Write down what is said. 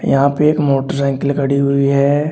यहां पे एक मोटरसाइकिल खड़ी हुई है।